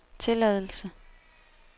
tilladelse